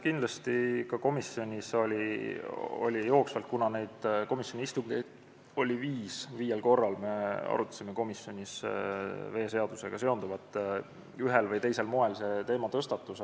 Kindlasti oli komisjonis jooksvalt – komisjoni istungeid oli viis, viiel korral me arutasime komisjonis veeseadusega seonduvat – ühel või teisel moel seda teemat tõstatatud.